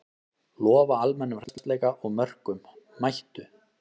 Lofa almennum hressleika og mörkum, mættu!